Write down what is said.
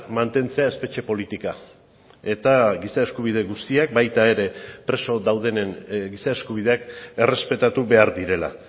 mantentzea espetxe politika eta giza eskubide guztiak baita ere preso daudenen giza eskubideak errespetatu behar direla